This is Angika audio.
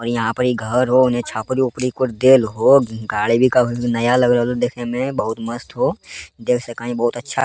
और यहां परी घर हो उन्ने छपरी-ऊपरी कुछ देल हो गाड़ी भी कभी भी नया लग रहल हो देखे में बहुत मस्त हो देख सके हीं बहुत अच्छा --